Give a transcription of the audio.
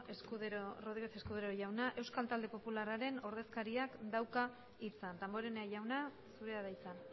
eskerrik asko ramírez escudero jauna euskal talde popularraren ordezkariak dauka hitza damborenea jauna zurea da hitza